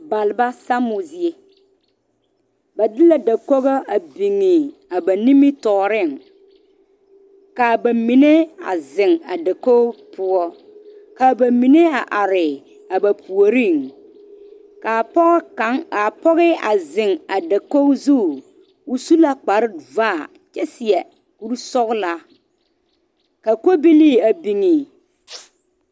Balba sammo zie ba de la dakogi a biŋe ba nimitɔɔre ka bamine a zeŋ a dakogi poɔ ka bamine a are a ba puori kaa pɔge kaŋa kaa pɔge a zeŋ a dakogi zu o su la kpare vaa kyɛ seɛ kuri sɔglaa ka kobilee a biŋ.